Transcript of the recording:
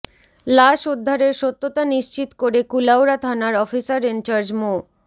লাশ উদ্ধারের সত্যতা নিশ্চিত করে কুলাউড়া থানার অফিসার ইনচার্জ মো